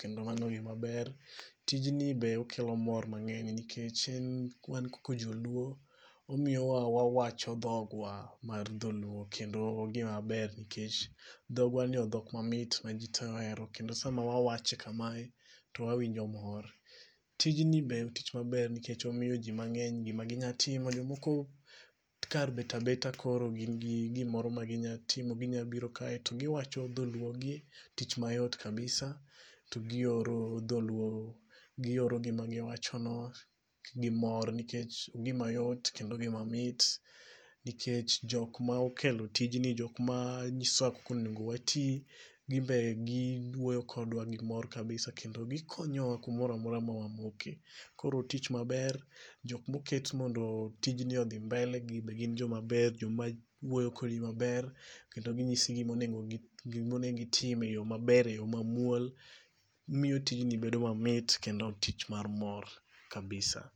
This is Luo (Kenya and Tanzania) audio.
kendo en gima ber kabisa nikech en gima ka itime kama to in gi mor nikech giko mare kata e ndalo mabiro to idhi yudo gimoro ma isoyo e mufuku Tijni bende kelo mor mang'eny nikech en wan kaka joluo, omiyo wa wawacho dhogwa mar dholuo nikech mae dhok mamit ma ji tee ohero kendo Sama wawache kamae to wawinjo mor. Tijni ber tich ma ber nikech omiyo ji mang'eny gima ginyalo timo, jomoko kar bet abeta koro gin gi gimoro ma ginyalo timo. Ginya biro kae to giwacho dholuo tich mayot kabisa, to gioro dholuo gioro gima giwachono gimor nikech gima yot kendo gima mit. Nikech jok ma okelo tijni jok ma nyisowa kaka onego wati. Gin be giwuoyo kodwa gimor kabisa kendo gikonyowa kumoro amora ma wamoke. Koro otich maber, jok moketi mondo tijni odhi mbele gin be gin joma ber joma wuoyo kodi maber kendo ginyisi gima onego giti gima onego otim eyo maber eyo mamuol . Gimiyo tijni bedo mamit kendo tich mar mor kabisa .